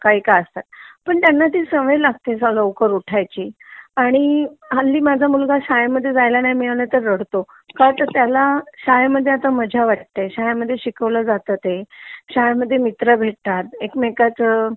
का असतात पण त्यांना ती सवय लागते लवकर उठायची आणि हल्ली माझा मुलगा शाळे मध्ये जायला नाही मिळाल की रडतो का तर त्याला शाळा म्हणजे मजा वाटते जे शिकवलं जाता ते , शाळेमध्ये मित्र भेटतात एकमेकांचा